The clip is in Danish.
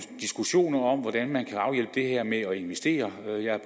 diskussioner om hvordan man kan afhjælpe det her med at investere